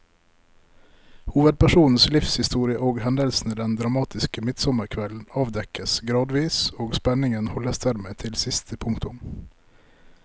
Hovedpersonens livshistorie og hendelsene den dramatiske midtsommerkvelden avdekkes gradvis, og spenningen holdes dermed til siste punktum.